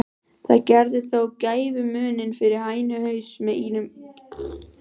Það gerði þó gæfumuninn fyrir hænuhaus með ímyndunarafl.